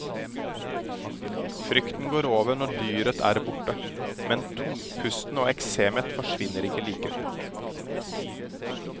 Frykten går over når dyret er borte, men tungpusten og eksemet forsvinner ikke like fort.